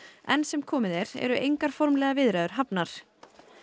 enn sem komið er eru engar formlegar viðræður hafnar